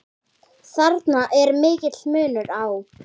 Þarna er mikill munur á.